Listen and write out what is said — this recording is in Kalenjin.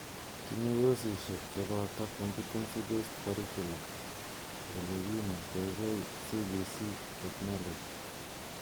Tinye kosishek cheboto Competency Based Curriculum ,olekinetekei CBC ,teknoloji,